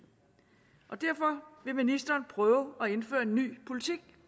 derfor vil ministeren prøve at indføre en ny politik